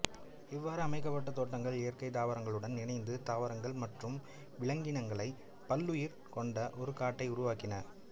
இவ்வாறு அமைக்கப்பட்ட தோட்டங்கள் இயற்கை தாவரங்களுடன் இணைந்து தாவரங்கள் மற்றும் விலங்கினங்களைக் பல்லுயிர் கொண்ட ஒரு காட்டை உருவாக்கின